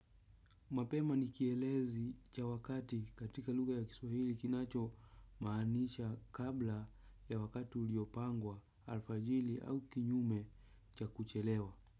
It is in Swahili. Mapema ni kielezi cha wakati katika lugha ya kiswahili kinachomaanisha kabla ya wakati uliopangwa alfajili au kinyume cha kuchelewa.